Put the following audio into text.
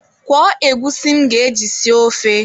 Kwọọ egwusi m ga-eji sie ofe.